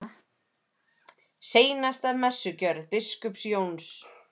SEINASTA MESSUGJÖRÐ BISKUPS JÓNS